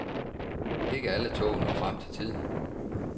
Ikke alle tog når frem til tiden.